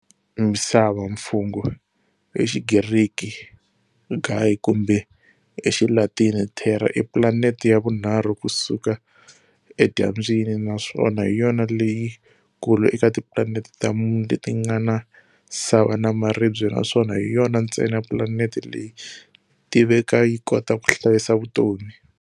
Misava, mfungho-Hixigriki-Gaia, kumbe hixilatini-Terra, i planeti ya vunharhu kusuka edyambyini, naswona hiyona leyi kulu eka tiplaneti ta mune letingana sava na maribye naswona hiyona ntsena planeti leyi tiveka yikota kuhlayisa vutomi.